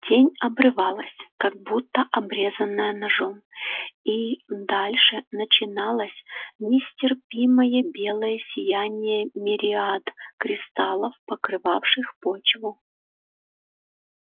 тень обрывалась как будто обрезанная ножом и дальше начиналось нестерпимое белое сияние мириад кристаллов покрывавших почву